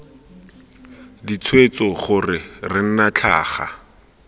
ditshwetso gore re nna tlhaga